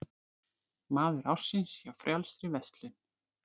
Maður ársins hjá Frjálsri verslun